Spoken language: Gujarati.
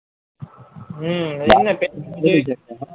હ